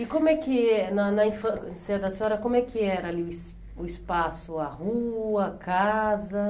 E como é que, na na infância da senhora, como é que era ali o es o espaço, a rua, a casa?